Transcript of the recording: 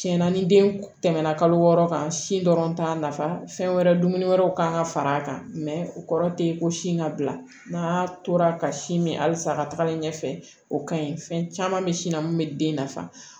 Tiɲɛna ni den tɛmɛna kalo wɔɔrɔ kan sin dɔrɔn t'a nafa fɛn wɛrɛ dumuni wɛrɛw kan ka far'a kan o kɔrɔ tɛ ko sin ka bila n'a tora ka sin min halisa a ka tagalen ɲɛfɛ o ka ɲi fɛn caman bɛ sin na min bɛ den nafa